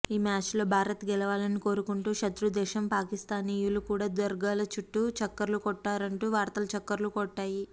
ఈ మ్యాచ్లో భారత్ గెలవాలని కోరుకుంటూ శతృదేశం పాకిస్తానీయులు కూడా దర్గాల చుట్టూ చక్కర్లు కొట్టారంటూ వార్తలు చక్కర్లు కొట్టాయి